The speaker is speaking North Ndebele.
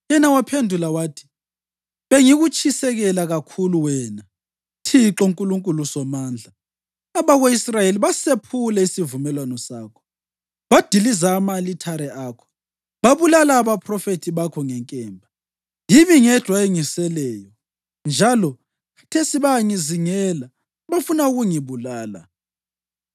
Yena waphendula wathi, “Bengikutshisekela kakhulu, wena Thixo Nkulunkulu Somandla. Abako-Israyeli basephule isivumelwano sakho, badiliza ama-alithare akho, babulala abaphrofethi bakho ngenkemba. Yimi ngedwa engiseleyo, njalo khathesi bayangizingela bafuna ukungibulala.”